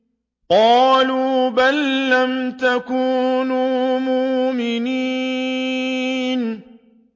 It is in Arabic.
قَالُوا بَل لَّمْ تَكُونُوا مُؤْمِنِينَ